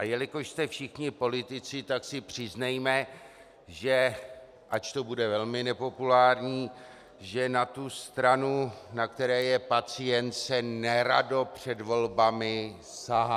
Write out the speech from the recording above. A jelikož jste všichni politici, tak si přiznejme, ač to bude velmi nepopulární, že na tu stranu, na které je pacient, se nerado před volbami sahá.